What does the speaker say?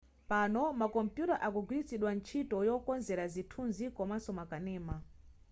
pano makompuyuta akugwiritsidwa ntchito yokonzera zithunzi komaso makanema